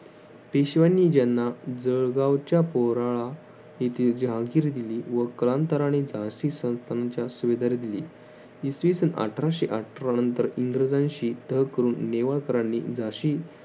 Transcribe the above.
पेशव्यांनी ज्यांना जळगावच्या पोराळा येथील जहांगीर दिली व कालांतराने झाशी संस्थांच्या सुविधार दिली. इसवीसन अठराशे अठरा नंतर इंग्रजांशी तह करून नेवाळकरांनी झाशी